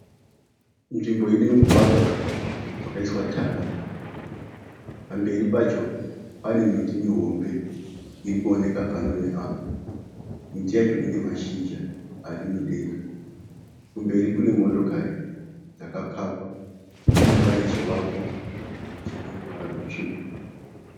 Nzvimbo ine mugwagwa wakaiswa tatra. Pamberi pacho pane miti mihombe iri kuoneka pano neapo. Miti yacho ine mashizha ari mudenga. Kumberi kune motokari dzakapakwa uye pane chivako chine ruvara rutsvuku.